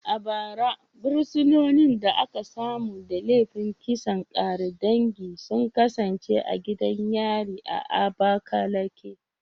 A bara, fursunonin da aka samu da laifin kisan ƙare dangi sun kasance a gidan yari a Abakaleke